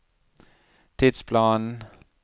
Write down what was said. tidsplanen